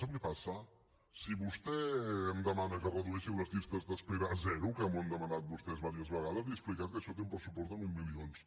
sap què passa si vostè em demana que redueixi les llistes d’espera a zero que m’ho han demanat vostès diverses vegades li he explicat que això té un pressupost de mil milions